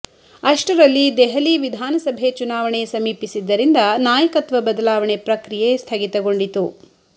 ಅಷ್ಟರಲ್ಲಿ ದೆಹಲಿ ವಿಧಾನಸಭೆ ಚುನಾವಣೆ ಸಮೀಪಿಸಿದ್ದರಿಂದ ನಾಯಕತ್ವ ಬದಲಾವಣೆ ಪ್ರಕ್ರಿಯೆ ಸ್ಥಗಿತಗೊಂಡಿತು